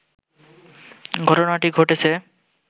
ঘটনাটি ঘটেছে